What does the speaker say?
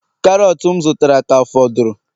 Karọt m zụtara ka fọdụrụ